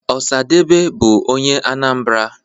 osadebe bu onye Anambra